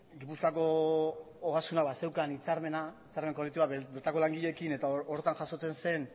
gipuzkoako ogasunak bazeukan hitzarmena zergen kolektiboa bertako langileekin eta horretan jasotzen zen